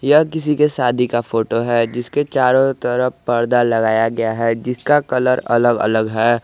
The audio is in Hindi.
यह किसी के शादी का फोटो है जिसके चारों तरफ परदा लगाया गया है जिसका कलर अलग अलग है।